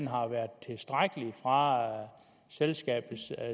har været tilstrækkelig fra selskabets